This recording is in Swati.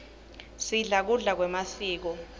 sidla kudla kwemasiko